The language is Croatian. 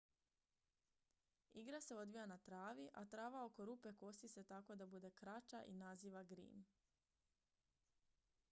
igra se odvija na travi a trava oko rupe kosi se tako da bude kraća i naziva green